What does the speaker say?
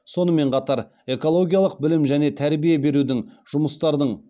сонымен қатар экологиялық білім және тәрбие берудің жұмыстардың